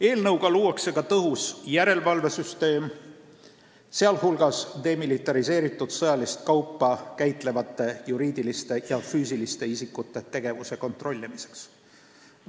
Eelnõuga luuakse ka tõhus järelevalvesüsteem, sh demilitariseeritud sõjalist kaupa käitlevate juriidiliste ja füüsiliste isikute tegevuse kontrollimiseks.